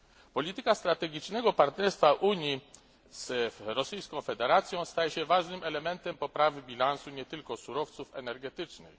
Polityka strategicznego partnerstwa Unii z Federacją Rosyjską staje się ważnym elementem poprawy bilansu nie tylko surowców energetycznych.